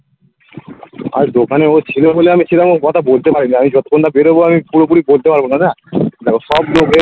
আজ ওখানে ও ছিল বলে আমি ছিলাম ওই কথা বলতে পারিনি আমি যতক্ষণ না বেরোবো আমি পুরোপুরি বলতে পারবো না না সব